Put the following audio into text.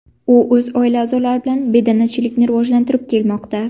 U o‘z oila a’zolari bilan bedanachilikni rivojlantirib kelmoqda.